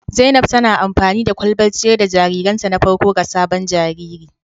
Zainab tana amfani da kwalbar ciyar da jaririnta na farko ga sabon jariri